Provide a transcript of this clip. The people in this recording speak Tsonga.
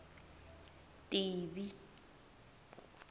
tivi